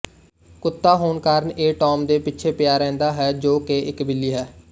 ਕੁੱਤਾ ਹੋਣ ਕਾਰਨ ਇਹ ਟੌਮ ਦੇ ਪਿੱਛੇ ਪਿਆ ਰਹਿੰਦਾ ਹੈ ਜੋ ਕਿ ਇੱਕ ਬਿੱਲੀ ਹੈ